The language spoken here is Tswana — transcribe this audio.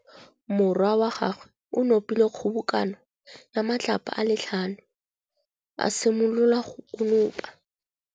Morwa wa gagwe o nopile kgobokanô ya matlapa a le tlhano, a simolola go konopa.